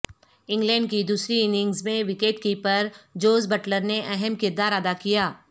England کی دوسری innings میں وکٹ کیپر جوز بٹلر نے اہم کردار ادا کیا